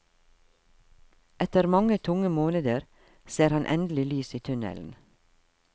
Etter mange tunge måneder, ser han endelig lys i tunnelen.